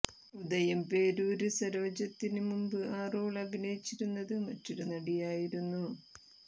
ഉദയംപേരൂര് സരോജത്തിന് മുമ്പ് ആ റോള് അഭിനയിച്ചിരുന്നത് മറ്റൊരു നടി ആയിരുന്നു